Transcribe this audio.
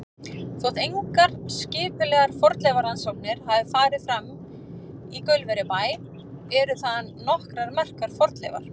Þótt engar skipulegar fornleifarannsóknir hafi farið fram í Gaulverjabæ eru þaðan nokkrar merkar fornleifar.